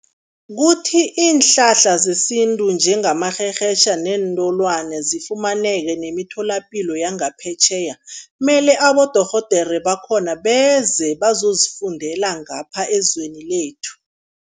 Kuthi iinhlahla zesintu njengamarherhetjha neentolwane zifumaneka nemitholapilo yangaphetjheya, mele abodorhodere bakhona beze bazozifundela ngapha ezweni lethu.